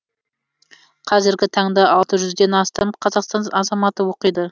қазіргі таңда алты жүзден астам қазақстан азаматы оқиды